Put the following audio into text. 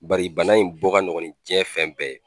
Bari bana in bɔ ka nɔgɔ ni jiɲɛn fɛn bɛɛ ye